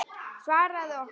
Svaraðu okkur.